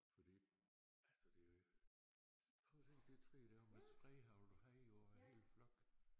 Fordi altså det jo prøv at se det træ deromme med spredehagl du havde jo en hel flok